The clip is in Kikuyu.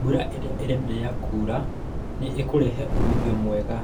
Mbura ĩrĩa ĩrenderea kura nĩ ĩkurehe umithio mwega